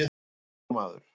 Ekki nokkur maður.